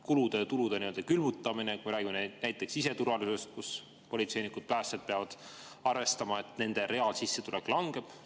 Kulude ja tulude külmutamine, kui räägime näiteks siseturvalisusest, kus politseinikud ja päästjad peavad arvestama, et nende reaalsissetulek langeb.